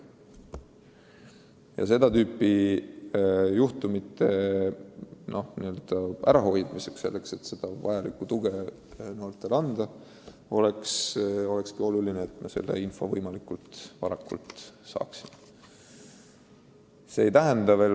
Et seda tüüpi juhtumeid ära hoida ja noortele tuge anda, peamegi selle info võimalikult varakult saama.